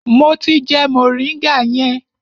Mo ti jẹ moringa yẹn.